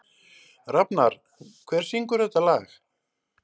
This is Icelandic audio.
Rafnar, hver syngur þetta lag?